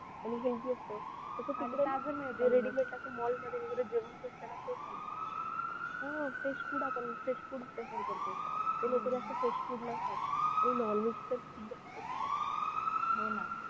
आणि healthy असतं जे ready-made असं Mall मध्ये वगैरे जेवण भेटतो fresh food ना तेच आणतात लोक जास्त fresh food नाही खात आणि non veg तर खूप जास्त खातात